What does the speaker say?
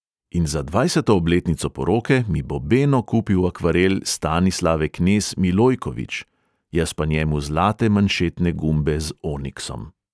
In za dvajseto obletnico poroke mi bo beno kupil akvarel stanislave knez - milojković, jaz pa njemu zlate manšetne gumbe z oniksom.